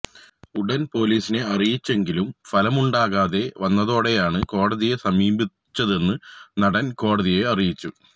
ഉടൻ പൊലീസിനെ അറിയിച്ചെങ്കിലും ഫലമുണ്ടാകാതെ വന്നതോടെയാണ് കോടതിയെ സമീപിച്ചതെന്നും നടൻ കോടതിയെ അറിയിച്ചു